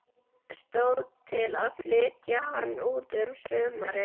Stóð til að flytja hann út um sumarið.